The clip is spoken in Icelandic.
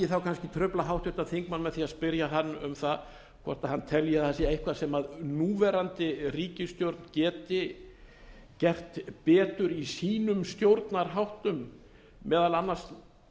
þá kannski trufla háttvirtir þingmenn með því að spyrja hann um hvort hann telji að það sé eitthvað sem núverandi ríkisstjórn geti gert betur í sínum stjórnarháttum meðal annars